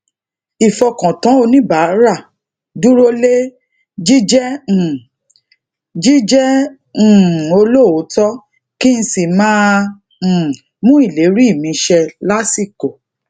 ifọkàntán oníbàárà durole jijé um jijé um olóòótó kí n sì máa um mú ìlérí mi ṣẹ lasiko